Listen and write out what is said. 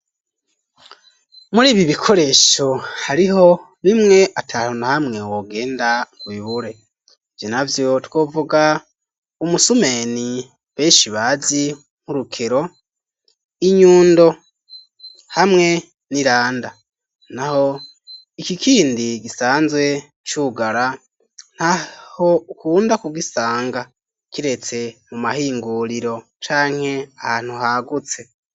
Muri ibi bikoresho hariho bimwe ata hantu na hamwe wogenda ubibure, ivyo na vyo twovuga umusumeni benshi bazi nk'urukero, inyundo hamwe n'iranda, naho iki kindi gisanzwe cugara ntaho ukunda kugisanga kiretse mu mahinguriro canke ahantu hagutse.